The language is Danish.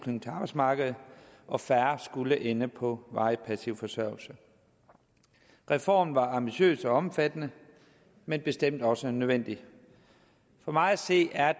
arbejdsmarkedet og færre skulle ende på varig passiv forsørgelse reformen var ambitiøs og omfattende men bestemt også nødvendig for mig at se er